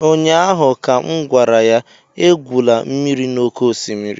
ụnyaahụ ka m gwara ya, egwula mmiri n'oké osimiri!